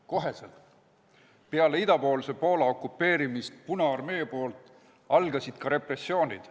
Kohe pärast seda, kui punaarmee oli Poola idaosa okupeerinud, algasid repressioonid.